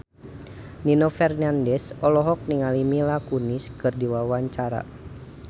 Nino Fernandez olohok ningali Mila Kunis keur diwawancara